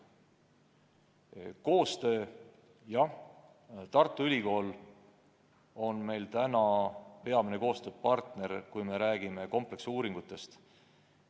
Mis puutub koostöösse, siis Tartu Ülikool on meie peamine koostööpartner, kui me räägime kompleksuuringutest.